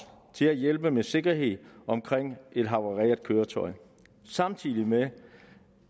til at hjælpe med sikkerheden omkring et havareret køretøj samtidig med